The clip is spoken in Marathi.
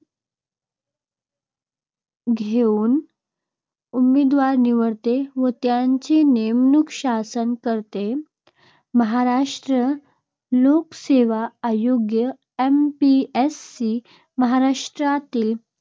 घेऊन उमेदवार निवडते व त्यांची नेमणूक शासन करते. महाराष्ट्र लोकसेवा आयोग MPSE